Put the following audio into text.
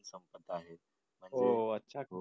हो अच्छा